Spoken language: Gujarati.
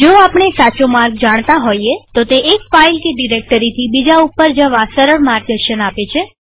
જો આપણે સાચો માર્ગ જાણતા હોઈએતો તે એક ફાઈલ કે ડિરેક્ટરીથી બીજા ઉપર જવા સરળ માર્ગદર્શન આપે છે